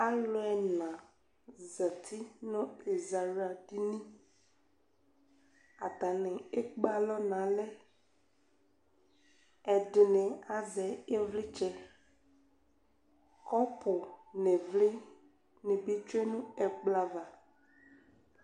Alʋ ɛna zati nʋ ɛzawla dini atani ekpe alɔ nʋ alɛ ɛdini azɛ ivlitsɛ kɔpu nʋ ivli nibi tsue nʋ ɛkplɔ ava